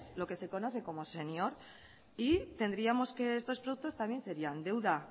lo que se conoce como senior y tendríamos que estos productos también serían deuda